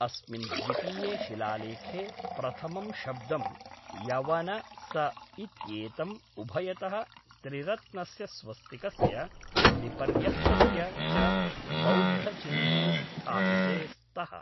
अस्मिन् द्वितीये शिलालेखे प्रथमं शब्दं यवन स इत्येतम् उभयतः त्रिरत्नस्य स्वस्तिकस्य विपर्य्यस्तस्य च बौद्धचिह्ने स्थापिते स्तः।